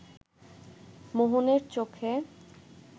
মোহনের চোখে